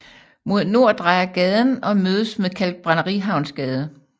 Mod nord drejer gaden og mødes med Kalkbrænderihavnsgade